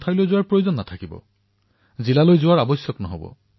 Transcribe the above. তহচীলত যদি সামগ্ৰীবিধ পাও তেন্তে জিলালৈ যোৱাৰ কোনো প্ৰয়োজন নাই